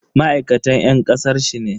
Ma'aikatan yan kasar sin ne?